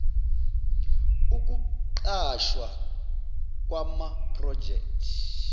ukuqashwa kwama project